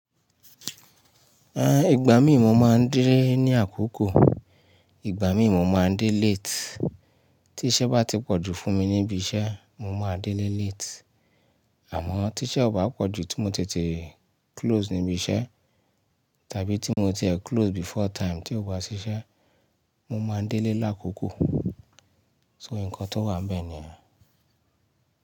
A, ìgbà mí mo máa ń délé ní àkókò, ìgbà mí mo máa ń délé late. Tí iṣẹ́ bá ti pọ̀jù fún mi níbi iṣẹ́, mo máa délé late. Àmọ́ tí iṣẹ́ ò bá pọ̀jù tí mo ti tete close níbi iṣẹ́ tàbí tí mo ti ẹ close before time tí ó bá ṣiṣẹ́, mo máa ń délé lákòókò. So nǹkan tó wà bẹ́ẹ̀ nìyẹn.